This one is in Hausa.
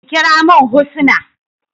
Ki kira min Husnah.